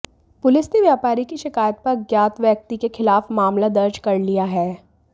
police ने व्यापारी की शिकायत पर अज्ञात व्यक्ति के खिलाफ मामला दर्ज कर लिया है